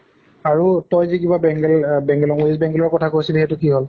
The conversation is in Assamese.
আৰু তই যে কিবা আহ west bengal ৰ কথা কৈছিলি, সেইটো কি হʼল?